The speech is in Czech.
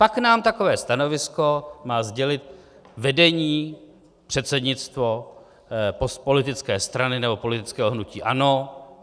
Pak nám takové stanovisko má sdělit vedení, předsednictvo politické strany nebo politického hnutí ANO.